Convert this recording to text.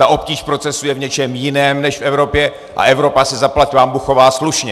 Ta obtíž procesu je v něčem jiném než v Evropě a Evropa se zaplať pánbůh chová slušně.